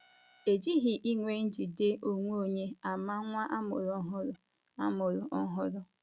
E jighị ịnwe njide onwe onye ama nwa a mụrụ ọhụrụ a mụrụ ọhụrụ.